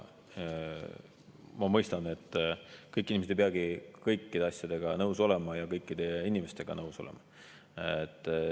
Ma mõistan, et kõik inimesed ei peagi kõikide asjadega nõus olema ja kõikide inimestega nõus olema.